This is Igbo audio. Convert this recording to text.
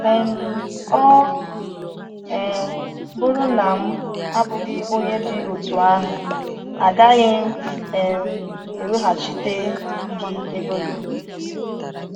um “Ọ um bụrụ na m abụghị onye dị otú ahụ, agaghị m um eweghachite gị ego gị.”